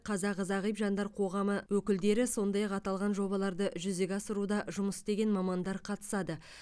қазақ зағип жандар қоғамы өкілдері сондай ақ аталған жобаларды жүзеге асыруда жұмыс істеген мамандар қатысады